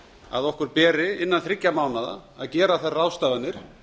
að okkur beri innan þriggja mánaða að gera þær ráðstafanir